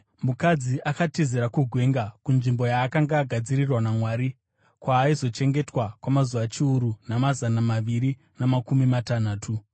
Mukadzi akatizira kugwenga kunzvimbo yaakanga agadzirirwa naMwari, kwaaizochengetwa kwamazuva chiuru namazana maviri namakumi matanhatu.